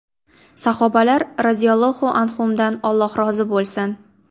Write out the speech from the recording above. Sahobalar roziyallohu anhumdan Alloh rozi bo‘lsin!